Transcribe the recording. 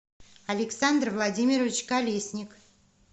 александр владимирович колесник